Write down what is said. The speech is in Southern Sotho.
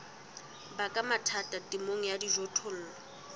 baka mathata temong ya dijothollo